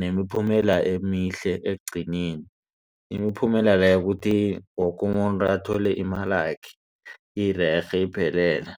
nemiphumela emihle ekugcineni imiphumela leyo ukuthi woke umuntu athole imalakhe irerhe iphelele.